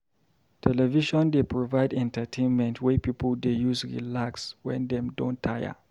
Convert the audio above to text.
Television dey provide entertainment wey pipo dey use relax wen dem don tire.